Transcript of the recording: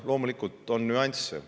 Loomulikult on teatud nüansse.